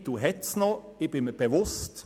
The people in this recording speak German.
Mittel sind noch vorhanden.